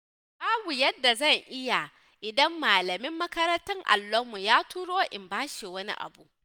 Babu yadda zan yi idan malamin makarantar allonmu ya turo in bashi wani abu.